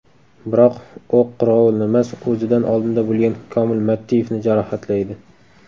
Biroq, o‘q qirg‘ovulnimas, o‘zidan oldinda bo‘lgan Komil Mattiyevni jarohatlaydi.